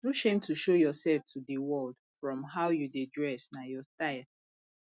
no shame to show yourself to de world from how you dey dress na your style